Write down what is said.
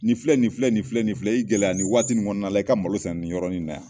Nin filɛ nin filɛ nin filɛ nin filɛ i gɛlɛya nin waati kɔnɔna na i ka malo sɛnɛ nin yɔrɔ in na yan